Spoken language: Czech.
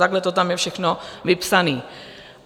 Takhle to tam je všechno vypsané.